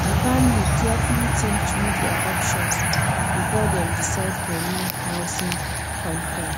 di family carefully think through dia options before dem decide for new housing contract